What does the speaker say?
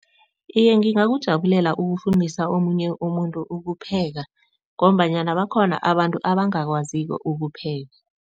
Iye, ngingakujabulela ukufundisa omunye umuntu ukupheka ngombanyana bakhona abantu abangakwaziko ukupheka.